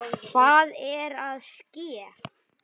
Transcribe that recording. Hvað er að ske?